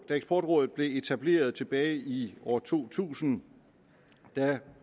eksportrådet blev etableret tilbage i år to tusind